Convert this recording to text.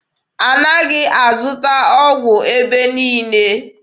A naghị azụta ọgwụ n'ebe niile.